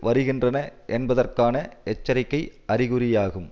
வருகின்றன என்பதற்கான எச்சரிக்கை அறிகுறியாகும்